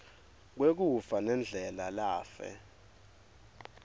lwekufa nendlela lafe